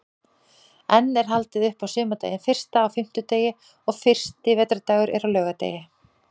Enn er haldið upp á sumardaginn fyrsta á fimmtudegi og fyrsti vetrardagur er á laugardegi.